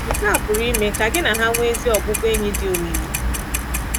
Nke a pụrụ ime ka gị na ha nwee ezi ọbụbụenyị dị omimi.